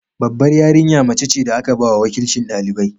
Babbar yarinya mace ce da aka ba wa wakilcin ɗalibai.